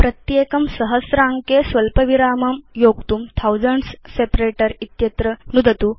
प्रत्येकं सहस्र अङ्के स्वल्प विराम विभेदकं योक्तुं थाउसेन्ड्स् सेपरेटर इत्यत्र नुदतु